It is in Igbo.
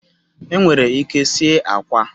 Enwere ike sie akwa